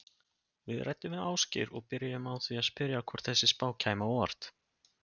Við ræddum við Ásgeir og byrjuðum á að spyrja hvort þessi spá kæmi á óvart?